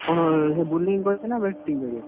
କଣ ସେ bowling କରିତେ ନା batting କରିବେ?